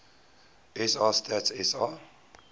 sa stats sa